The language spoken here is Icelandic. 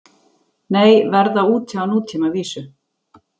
Nei, verða úti á nútímavísu